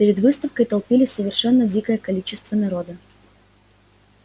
перед выставкой толпилось совершенно дикое количество народа